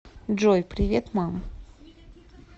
джой привет мам